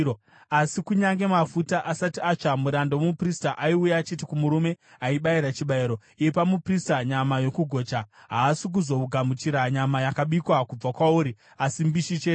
Asi, kunyange mafuta asati atsva, muranda womuprista aiuya achiti kumurume aibayira chibayiro, “Ipa muprista nyama yokugocha; haasi kuzogamuchira nyama yakabikwa kubva kwauri, asi mbishi chete.”